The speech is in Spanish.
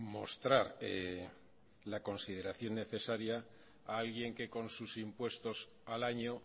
mostrar la consideración necesaria a alguien que con sus impuestos al año